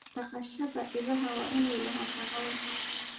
Dhaqashada idaha waa inay lahaataa caws